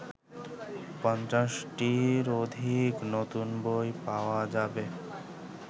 ৫০টির অধিক নতুন বই পাওয়া যাবে